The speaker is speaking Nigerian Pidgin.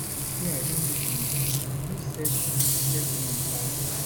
wey i don do for am and no set set me on fire